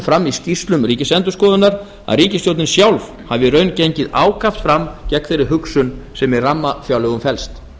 fram í skýrslum ríkisendurskoðunar að ríkisstjórnin sjálf hafi í raun gengið ákaft fram gegn þeirri hugsun sem í rammafjárlögum felst